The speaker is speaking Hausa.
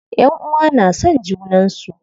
Ƴanʼuwa na son junan su.